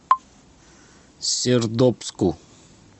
сердобску